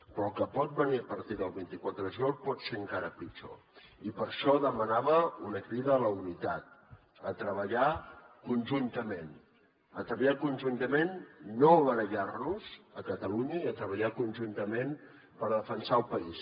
però el que pot venir a partir del vint quatre ju liol pot ser encara pitjor i per això demanava una crida a la unitat a treballar con juntament a treballar conjuntament a no barallar nos a catalunya i a treballar conjuntament per defensar el país